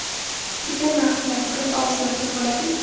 Turgan vaqt niyat qilib, og‘iz yopsa boladimi?.